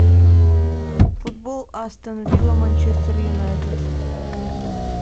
футбол астон вилла манчестер юнайтед